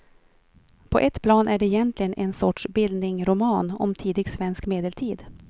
På ett plan är det egentligen en sorts bildningroman om tidig svensk medeltid.